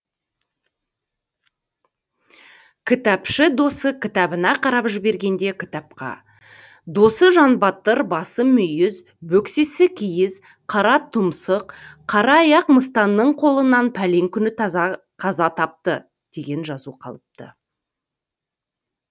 кітапшы досы кітабына қарап жібергенде кітапқа досы жандыбатыр басы мүйіз бөксесі киіз қара тұмсық қара аяқ мыстанның қолынан пәлен күні қаза тапты деген жазу қалыпты